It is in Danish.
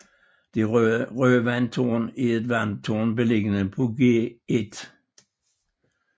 Det røde vandtårn er et vandtårn beliggende på Gl